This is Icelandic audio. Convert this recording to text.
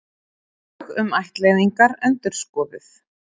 Lög um ættleiðingar endurskoðuð